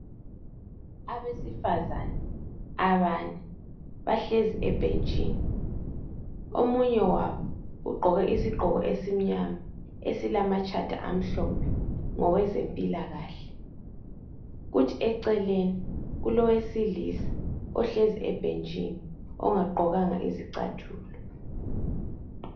Abesifazane abane bahlezi ebhentshini. Omunye wabo ugqoke isigqoko esimnyama esilamatshatha amhlophe ngowezempilakahle. Kuthi eceleni kulowesilisa ohlezi ebhentshini ongaqokanga izicathulo.